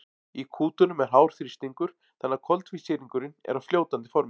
í kútunum er hár þrýstingur þannig að koltvísýringurinn er á fljótandi formi